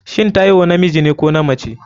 shin Taiwo namijine ko namace?